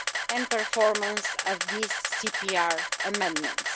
and performance of these CPR amendments.